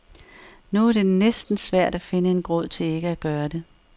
Nu er det næsten svært at finde en grund til ikke at gøre det.